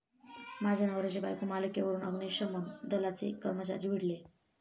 माझ्या नवऱ्याची बायको' मालिकेवरून अग्निशमन दलाचे कर्मचारी भिडले